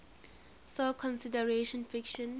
saw considerable friction